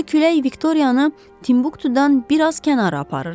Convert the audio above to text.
Bu güclü külək Viktoriyanı Timbuktudan biraz kənara aparırdı.